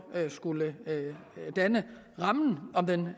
skulle danne rammen om den